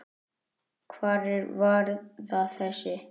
Hvar er varða þessi?